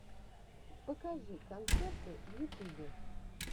покажи концерты в ютубе